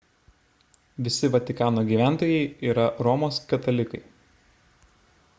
visi vatikano gyventojai yra romos katalikai